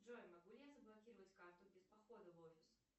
джой могу ли я заблокировать карту без похода в офис